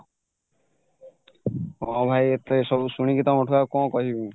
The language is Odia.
ହଁ ଭାଇ ଏତେ ସବୁଶୁଣିକି ଆଉ କଣ କହିବି